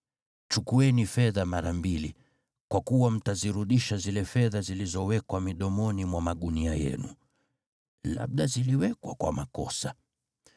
Chukueni fedha mara mbili, kwa kuwa mtazirudisha zile fedha zilizowekwa midomoni mwa magunia yenu. Labda ziliwekwa kwa makosa.